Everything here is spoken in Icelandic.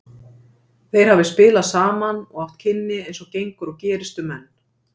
Þeir hafi spilað saman og átt kynni eins og gengur og gerist um menn.